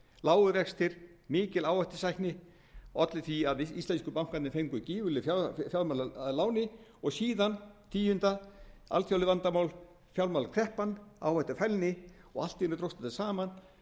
lágir vextir mikil áhættusækni olli því að íslensku bankarnir fengu gífurlega fjárhæð að láni og síðan tíu alþjóðleg vandamál fjármálakreppan áhættufælni og allt í einu dróst þetta saman